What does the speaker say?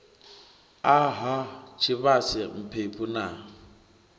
a ha tshivhase mphephu na